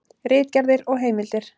Ritgerðir og heimildir.